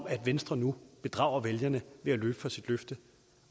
at venstre nu bedrager vælgerne ved at løbe fra sit løfte